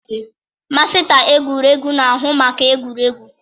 Masịta egwuregwu na-ahụ maka egwuregwu.